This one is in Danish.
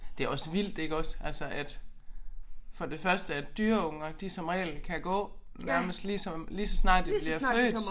Det også vildt iggås altså at for det første at dyreunger de som regel kan gå nærmest lige som lige så snart de bliver født